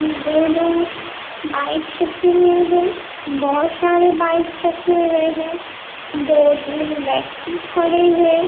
दो-दो बाइक्स रखे हुए हैं बोहोत सारे बाइक्स रखे हुए हैं दो-तीन व्यक्ति खड़े हैं।